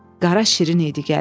Qara şirin idi gəlin.